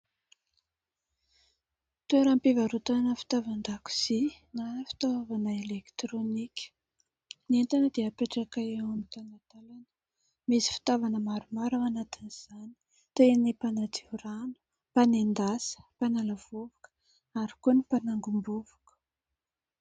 Toeram-pivarotana fitaovan-dakozia na fitaovana elektirônika. Ny entana dia apetraka eo amin' ny talantalana misy fitaovana maromaro ao anatin' izany: toy ny mpanadio rano, fanendasa, mpanala vovoka ary koa ny mpanangom-bovoko.